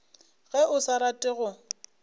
ge o sa rate go